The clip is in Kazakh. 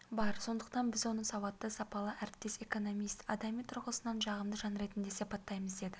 бар сондықтан біз оны сауатты сапалы әріптес экономист адами тұрғысынан жағымды жан ретінде сипаттаймыз деді